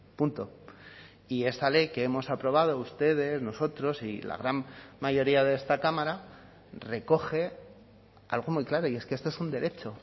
punto y esta ley que hemos aprobado ustedes nosotros y la gran mayoría de esta cámara recoge algo muy claro y es que esto es un derecho